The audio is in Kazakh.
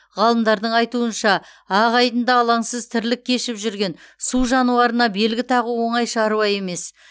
ғалымдардың айтуынша ақ айдында алаңсыз тірлік кешіп жүрген су жануарына белгі тағу оңай шаруа емес